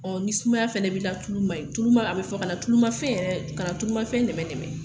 Ɔ ni sumaya fana b'il a tulu man ɲi tuluma a bɛ fɔ kana tulumafɛn yɛrɛ kana tulumafɛn nɛmɛnɛmɛ